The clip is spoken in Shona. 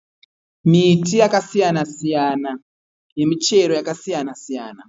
Miti yakasiyana siyana yemichero yakasiyana siyana.